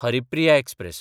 Haripriya express